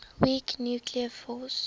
weak nuclear force